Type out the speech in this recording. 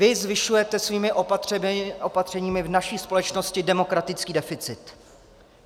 Vy zvyšujete svými opatřeními v naší společnosti demokratický deficit.